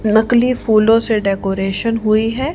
नकली फूलों से डेकोरेशन हुई है।